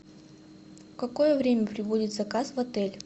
в какое время прибудет заказ в отель